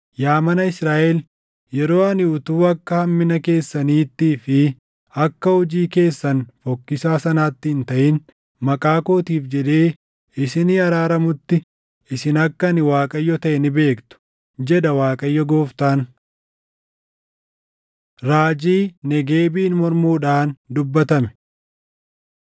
Yaa mana Israaʼel, yeroo ani utuu akka hammina keessaniittii fi akka hojii keessan fokkisaa sanaatti hin taʼin, maqaa kootiif jedhee isinii araaramutti, isin akka ani Waaqayyo taʼe ni beektu, jedha Waaqayyo Gooftaan.’ ” Raajii Negeebiin Mormuudhaan Dubbatame